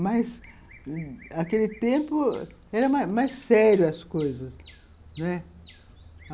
Mas, aquele tempo, eram mais sérias as coisas, né.